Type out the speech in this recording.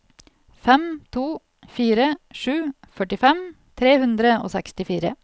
fem to fire sju førtifem tre hundre og sekstifire